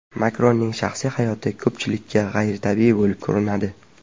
Makronning shaxsiy hayoti ko‘pchilikka g‘ayritabiiy bo‘lib ko‘rinadi.